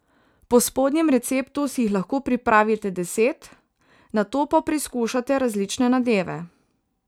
Po spodnjem receptu si jih lahko pripravite deset, nato pa preizkušate različne nadeve.